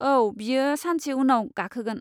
औ, बियो सानसे उनाव गाखोगोन।